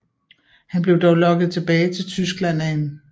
Han blev dog lokket tilbage til Tyskland af 1